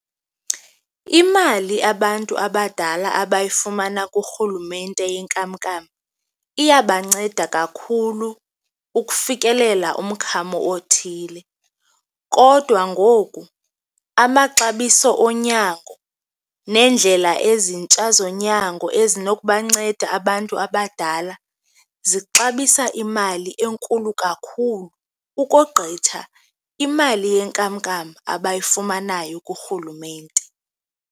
Imali abantu abadala abayifumana kurhulumente yenkamnkam iyabanceda kakhulu ukufikelela kumkhamo othile. Kodwa ngoku amaxabiso onyango neendlela ezintsha zonyango ezinokubanceda abantu abadala zixabisa imali enkulu kakhulu, ukogqitha imali yenkamnkam abayifumanayo kurhulumente.